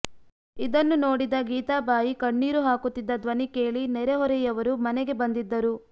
ಇದನ್ನು ನೋಡಿದ ಗೀತಾಬಾಯಿ ಕಣ್ಣೀರು ಹಾಕುತ್ತಿದ್ದ ಧ್ವನಿ ಕೇಳಿ ನೆರೆಹೊರೆಯವರು ಮನೆಗೆ ಬಂದಿದ್ದರು